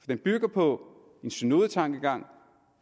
den bygger på en synodetankegang